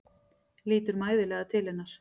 Lítur mæðulega til hennar.